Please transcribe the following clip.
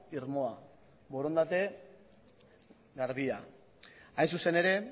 irmoa borondate garbia hain zuzen ere